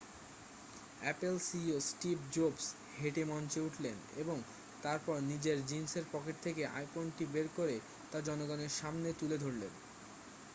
Apple CEO Steve জোভস হেঁটে মঞ্চে উঠলেন এবং তারপর নিজের জিন্সের পকেট থেকে আইফোনটি বের করে তা জনগণের সামনে তুলে ধরলেন